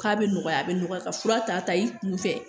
K'a bɛ nɔgɔya a bɛ nɔgɔya ka fura ta i kun fɛ